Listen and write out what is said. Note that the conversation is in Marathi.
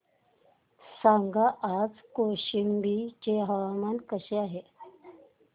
सांगा आज कौशंबी चे हवामान कसे आहे